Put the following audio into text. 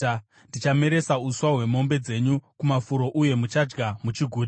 Ndichameresa uswa hwemombe dzenyu kumafuro uye muchadya muchiguta.